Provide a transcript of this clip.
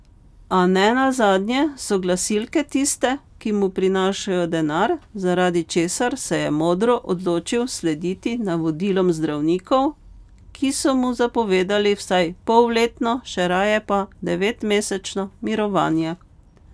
A ne nazadnje so glasilke tiste, ki mu prinašajo denar, zaradi česar se je modro odločil slediti navodilom zdravnikov, ki so mu zapovedali vsaj polletno, še raje pa devetmesečno mirovanje.